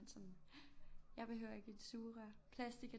Sådan jeg behøver ikke et sugerør plastik er